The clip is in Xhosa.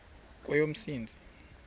kweyomntsintsi